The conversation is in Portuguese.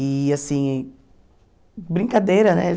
E assim, brincadeira, né?